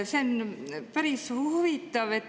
See on päris huvitav.